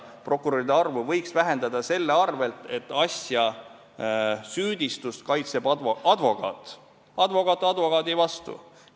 Prokuröride arvu võiks vähendada sellega, et asja, süüdistust kaitseb advokaat – advokaat advokaadi vastu.